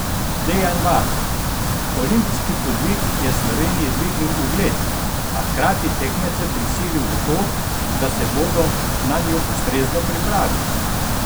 Dejan Varl: "Olimpijski podvig je Sloveniji dvignil ugled, a hkrati tekmece prisilil v to, da se bodo nanjo ustrezno pripravili.